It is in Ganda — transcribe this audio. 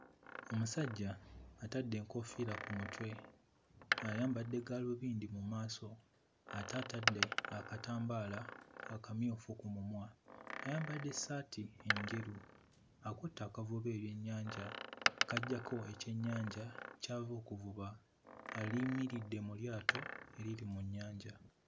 Omusajja atadde enkoofiira ku mutwe ayambadde gaalubindi mu maaso ate atadde akatambaala akamyufu ku mumwa. Ayambadde ssaati enjeru, akutte akavuba ebyennyanja k'aggyako ekyennyanja ky'ava okuvuba. Ayimiridde mu lyato eriri mu nnyanja.